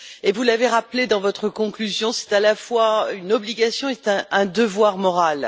Vous l'avez rappelé dans votre conclusion, c'est à la fois une obligation et un devoir moral.